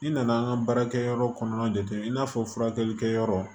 N'i nana an ka baarakɛyɔrɔ kɔnɔna jate i n'a fɔ furakɛlikɛ yɔrɔ